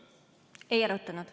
Ei arutanud.